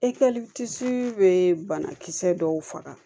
E bɛ banakisɛ dɔw faga